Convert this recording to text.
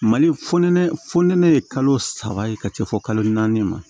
Mali fɔ nɛnɛ fɔ nɛnɛ ye kalo saba ye ka se fɔ kalo naani ma